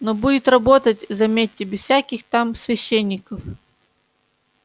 но будет работать заметьте без всяких там священников